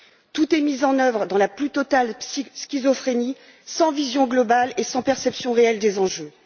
Tout est mis en œuvre dans la plus totale schizophrénie, sans vision globale et sans perception réelle des enjeux.